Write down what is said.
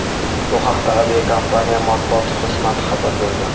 Bu haqda aviakompaniya Matbuot xizmati xabar bergan.